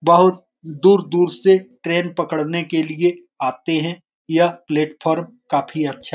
बहुत दूर-दूर से ट्रेन पकड़ने के लिए लोग आते हैं यह प्लेटफॉर्म काफी अच्छा --